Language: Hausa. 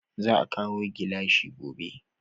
Za a kawo gilashi gobe